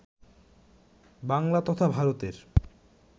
বাংলা তথা ভারতের